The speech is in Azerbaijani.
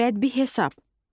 Bəd bir hesab.